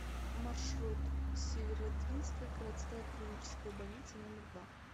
маршрут северодвинская городская клиническая больница номер два